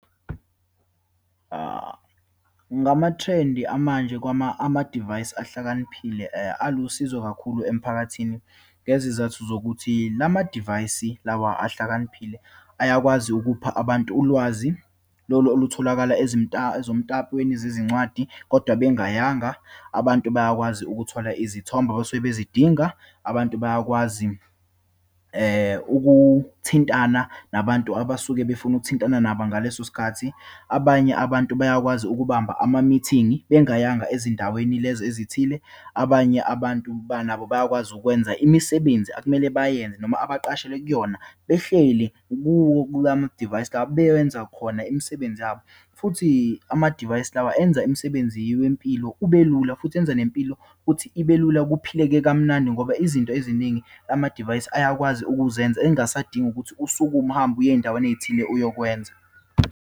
Ngamathrendi amanje amadivayisi ahlakaniphile alusizo kakhulu emphakathini, ngezizathu zokuthi lamadivayisi lawa ahlakaniphile ayakwazi ukupha abantu ulwazi lolu olutholakala ezomtapweni wezincwadi, kodwa bengayanga. Abantu bayakwazi ukuthola izithombe abasuke bezidinga, abantu bayakwazi ukuthintana nabantu abasuke befuna ukuthintana nabo ngaleso sikhathi, abanye abantu bayakwazi ukubamba ama-meeting-i bengayanga ezindaweni lezo ezithile, abanye abantu ba nabo bayakwazi ukwenza imisebenzi akumele bayenze noma abaqashelwe kuyona behleli kuwo kulamadivayisi la, bewenza khona imisebenzi yabo. Futhi amadivayisi lawa enza imisebenzi wempilo ubelula, futhi enza nempilo futhi ibe lula, kuphileke kamnandi, ngoba izinto eziningi amadivayisi ayakwazi ukuzenza, engasadingi ukuthi usukume uhambe uye eyindaweni eyithile uyokwenza.